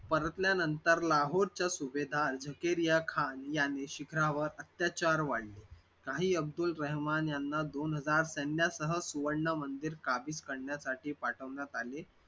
परतल्यानंतर लाहोरच्या सुभेदार झुकेरिया खान याने शिखरावर अत्याचार वाढले शाही अब्दुल रहमान याना दोन हजार सैन्यासह शाही मंदिर काबीज करण्यासाठी पाठवण्यात आले.